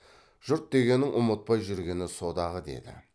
жұрт дегеннің ұмытпай жүргені со дағы деді